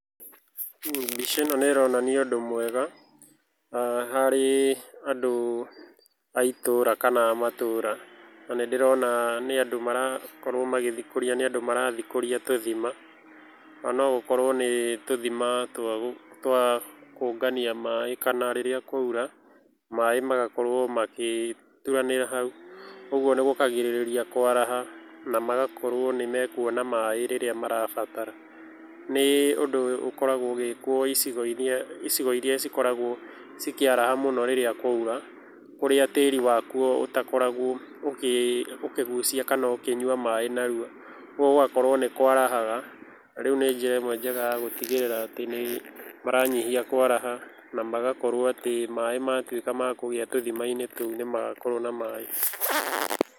Mbica ĩno nĩ ĩronania ũndũ mwega harĩ andũ a itũũra kana a matũũra. Na nĩ ndĩrona nĩ andũ marathikũria tũthima. Nogũkorwo nĩ tũthima twa kũngania maaĩ kana rĩrĩa kwaura, maaĩ magakorwo magĩturanĩra hau, ũguo nĩ gũkagirĩrĩria kwaraha na magakorwo nĩ mekuona maaĩ rĩrĩa marabatara. Nĩ ũndũ ũkoragwo ũgĩkwo icigo irĩa cikoragwo cikĩaraha rĩrĩa kwaura, kũrĩa tĩĩri wa kuo ũtakoragwo ũkĩgucia kana ũkĩnyua maaĩ narua, ũguo gũgakorwo nĩ kwarahaga, na rĩu nĩ njĩra ĩmwe njega ya gũtigĩrĩra nĩ maranyihia kwaraha na magakorwo atĩ maaĩ matuĩka makũgĩa tũthima-inĩ tũu, nĩmagakorwo na maaĩ.